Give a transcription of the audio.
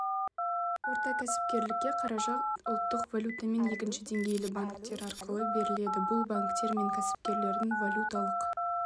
орта кәсіпкерлікке қаражат ұлттық валютамен екінші деңгейлі банктер арқылы беріледі бұл банктер мен кәсіпкерлердің валюталық